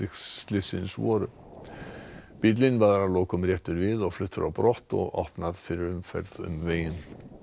slyssins voru bíllinn var að lokum réttur við og fluttur á brott og opnað fyrir umferð um veginn